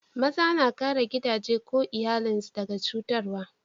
Maza na kare gidaje ko iyallin su daga cutarwa.